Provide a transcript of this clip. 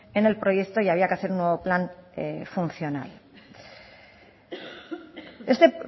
en el proyecto y había que hacer un nuevo plan funcional este